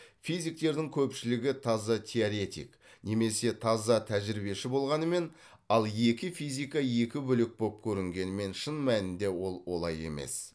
физиктердің көпшілігі таза теоретик немесе таза тәжірибеші болғанымен ал екі физика екі бөлек боп көрінгенімен шын мәнінде ол олай емес